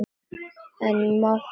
Ég er máttug.